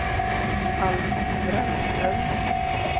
Alf Brännström